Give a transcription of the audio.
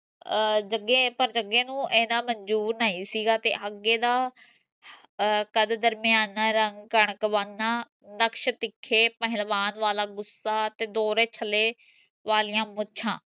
ਅਹ ਜਗੇ ਪਰ ਜਗੇ ਨੂੰ ਇਹਨਾਂ ਮਨਜੂਰ ਨਹੀਂ ਸੀਗਾ ਤੇ ਅਗੇ ਦਾ ਅਹ ਕਦ ਦਰਮਿਆਨਾ ਰੰਗ ਕਣਕ ਵੰਗ ਨਾ ਨਕਸ਼ ਤਿੱਖੇ ਪਹਿਲਵਾਨ ਵਾਲਾ ਗੁੱਸਾ ਤੇ ਦੋਹਰੇ ਛੱਲੇ ਵਾਲਿਆਂ ਮੁੱਛਾਂ